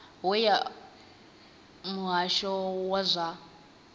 we ya muhasho wa zwa